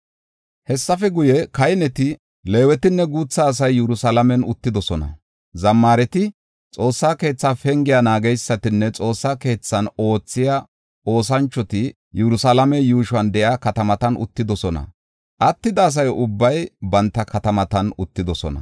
Hessafe guye, kahineti, Leewetinne guutha asay Yerusalaamen uttidosona; zammaareti, Xoossa keetha penge naageysatinne Xoossa keethan oothiya oosanchoti Yerusalaame yuushon de7iya katamatan uttidosona; attida asa ubbay banta katamatan katamatan uttidosona.